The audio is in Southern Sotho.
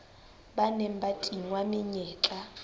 ba neng ba tingwa menyetla